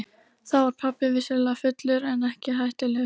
Þá var pabbi vissulega fullur en ekki hættulegur.